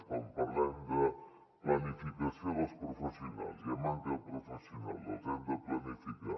quan parlem de planificació dels professionals hi ha manca de professionals els hem de planificar